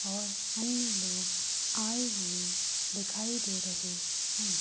और अन्य लोग आये हुए दिखाई दे रहे है।